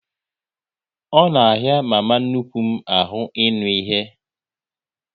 Ọ na ahịa mama nnukwu m ahụ ịnụ ihe